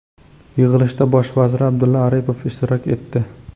Yig‘ilishda bosh vazir Abdulla Aripov ishtirok etdi.